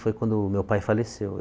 Foi quando o meu pai faleceu.